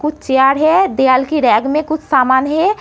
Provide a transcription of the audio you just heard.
कुछ चेयर है दीआल की रैक में कुछ सामान है।